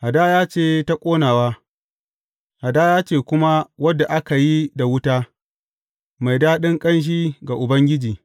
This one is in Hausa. Hadaya ce ta ƙonawa, hadaya ce kuma wadda aka yi da wuta, mai daɗin ƙanshi ga Ubangiji.